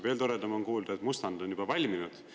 Veel toredam on kuulda, et mustand on juba valminud.